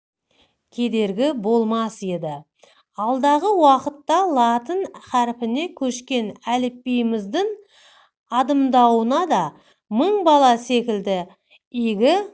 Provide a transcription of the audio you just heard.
кедергі болмас еді алдағы уақытта латын харпіне көшкен әліпбиіміздің адымдауына да мың бала секілді игі